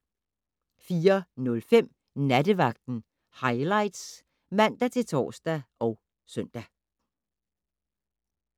04:05: Nattevagten Highlights (man-tor og søn)